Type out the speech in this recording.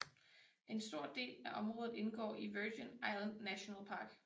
En stor del af området indgår i Virgin Islands National Park